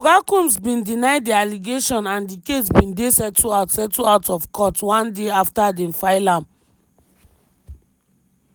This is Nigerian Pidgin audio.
oga combs bin deny di allegations and di case bin dey settled out settled out of court one day afta dem file am.